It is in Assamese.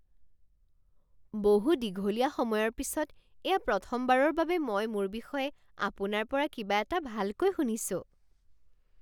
বহু দীঘলীয়া সময়ৰ পিছত এয়া প্ৰথমবাৰৰ বাবে মই মোৰ বিষয়ে আপোনাৰ পৰা কিবা এটা ভালকৈ শুনিছোঁ।